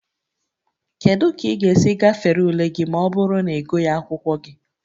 Kedu ka ị ga-esi gafere ule gị ma ọ bụrụ na ịgụghị akwụkwọ gị?